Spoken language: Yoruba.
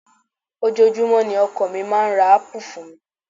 Ojoojúmọ́ ni ọkọ mi máa ń ra ápù fún mi